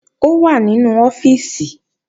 Ó wà nínú ọ́fíìsì